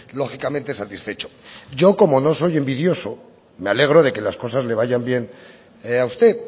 lógicamente satisfecho yo como no soy envidioso me alegro de que las cosas le vayan bien a usted